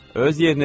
Öz yerinə ver.